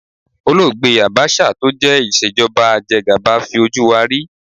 Olóògbé Àbáṣà tó jẹ́ ìṣèjọba ajegàba fi ojú wa rí.